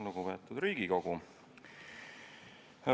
Lugupeetud Riigikogu!